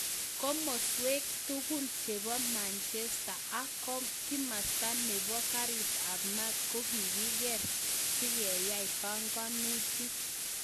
Kimaswek tugul chebo manjesta ak kimasti nebo karit ab maat ko kogigeer sigeai panganutik .